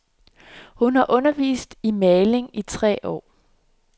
Hun har undervist i maling i tre år.